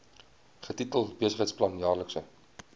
getitel besigheidsplan jaarlikse